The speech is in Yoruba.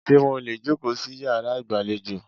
Ṣé mo lè jòkó sí yàrá ìgbàlejò?